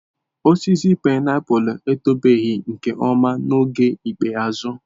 Osisi painiapulu etobeghị nke ọma n'oge ikpeazụ.